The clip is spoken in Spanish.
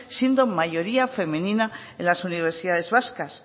siendo mayoría femenina en las universidades vascas